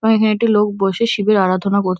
প্যায় হ্যাটে লোক বসে শিবের আরাধনা কর--